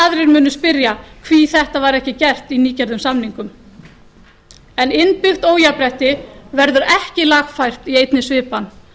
munu spyrja hví þetta var ekki gert í nýgerðum samningum innbyggt óréttlæti verður ekki lagfært í einni svipan